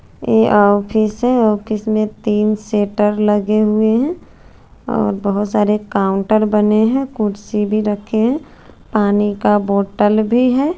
ये ऑफिस है ऑफिस में तिन सेटर लगे हुए है अ बहोत सारे काउंटर बने है कुर्सी भी रखे है पानी का बोटल भी है।